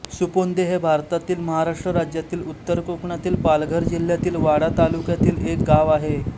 सुपोंदे हे भारतातील महाराष्ट्र राज्यातील उत्तर कोकणातील पालघर जिल्ह्यातील वाडा तालुक्यातील एक गाव आहे